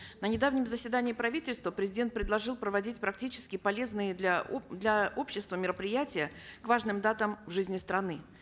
на недавнем заседании правительства президент предложил проводить практические полезные для для общества мероприятия к важным датам в жизни страны